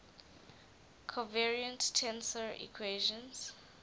covariant tensor equations